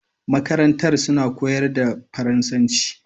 Makarantar suna koyar da faransan ci